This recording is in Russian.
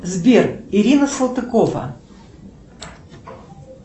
сбер ирина салтыкова